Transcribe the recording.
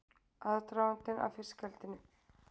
Aðdragandinn að fiskeldinu